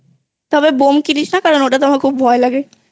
তবে বোম কিনিস না ওটা তে আমার ভয় লাগে